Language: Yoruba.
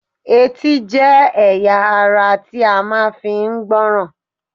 Etí jẹ́ ẹ̀yà ara ti a máa fi ń gbọ́ràn